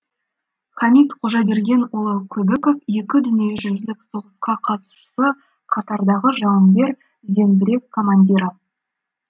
хамит қожабергенұлы көбіков екі дүниежүзілік соғысқа қатысушы қатардағы жауынгер зеңбірек командирі